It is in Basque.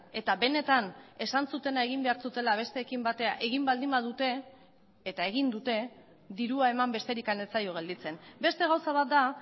eta benetan esan zutena egin behar zutela besteekin batera egin baldin badute eta egin dute dirua eman besterik ez zaio gelditzen beste gauza bat da